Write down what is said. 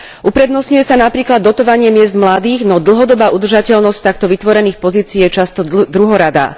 Uprednostňuje sa napríklad dotovanie miest mladých, no dlhodobá udržateľnosť takto vytvorených pozícií je často druhoradá.